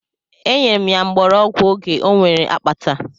E nyere m ya mgbọrọgwụ oge o nwere akpata.